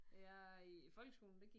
Jeg i folkeskolen der gik